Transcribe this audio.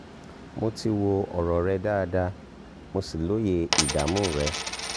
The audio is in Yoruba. mo ti wo ọ̀rọ̀ rẹ dáadáa mo sì lóye ìdààmú rẹ